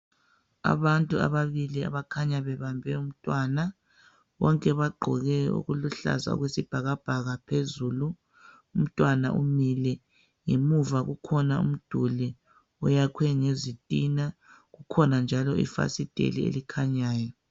Abantu ababili abakhanya bebambe umntwana. Bonke bagqoke okuluhlaza okwesibhakabhaka phezulu. Umntwana umile. Ngemuva kukhona umduli oyakhwe ngezitina, kukhona njalo ifasiteli elikhanyayo.